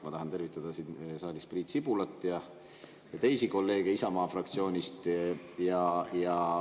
Ma tahan tervitada siin saalis Priit Sibulat ja teisi kolleege Isamaa fraktsioonist.